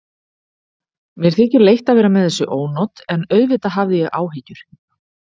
Mér þykir leitt að vera með þessi ónot en auðvitað hafði ég áhyggjur.